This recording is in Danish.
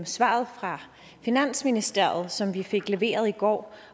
svaret fra finansministeriet som vi fik leveret i går